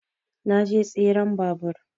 Na je tseren babur